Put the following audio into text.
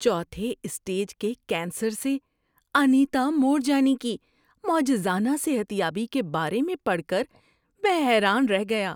چوتھے اسٹیج کے کینسر سے انیتا مورجانی کی معجزانہ صحت یابی کے بارے میں پڑھ کر میں حیران رہ گیا۔